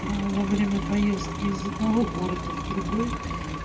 во время поездки из одного города в другой